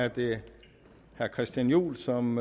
er det herre christian juhl som